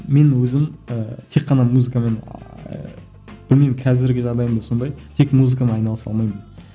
мен өзім ііі тек қана музыкамен ііі білмеймін қазіргі жағдайым сондай тек музыкамен айналыса алмаймын